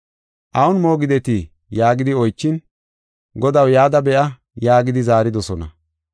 “Awun moogidetii?” yaagidi oychin, “Godaw, yada be7a” yaagidi zaaridosona.